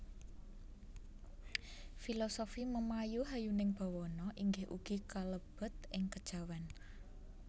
Filosofi memayu hayuning bawana inggih ugi kalebet ing kejawen